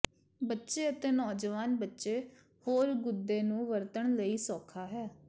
ਬੱਚੇ ਅਤੇ ਨੌਜਵਾਨ ਬੱਚੇ ਹੋਰ ਗੁਦੇ ਨੂੰ ਵਰਤਣ ਲਈ ਸੌਖਾ ਹੈ